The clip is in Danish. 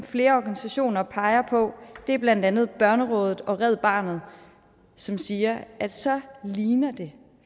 flere organisationer peger på det er blandt andet børnerådet og red barnet som siger at så ligner det